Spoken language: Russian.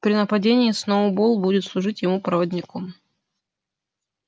при нападении сноуболл будет служить ему проводником